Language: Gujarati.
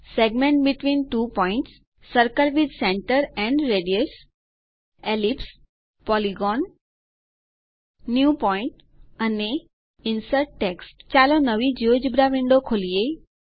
segment between two points circle with center and radius ellipse polygon new point અને ઇન્સર્ટ ટેક્સ્ટ ચાલો નવી જિયોજેબ્રા વિન્ડો ખોલીએ